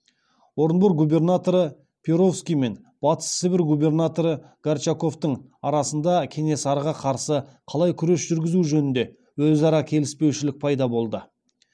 орынбор губернаторы перовский мен батыс сібір губернаторы горчаковтың арасында кенесарыға қарсы қалай күрес жүргізу жөнінде өзара келіспеушілік пайда болды